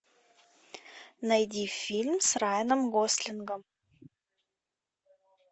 найди фильм с райаном гослингом